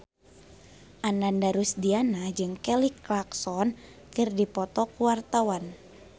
Ananda Rusdiana jeung Kelly Clarkson keur dipoto ku wartawan